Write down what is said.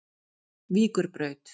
Víkurbraut